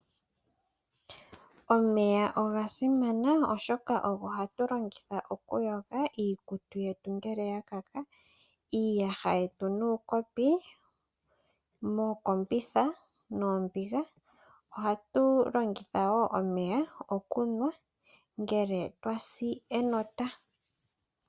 Omeya oga simana oshoka ogo hatu longitha oku yoga iikutu yetu ngele ya kaka, iiyaha yetu nuukopi mookombitha noombiga . Ohatu longitha woo omeya okunwa ngele twa si enota.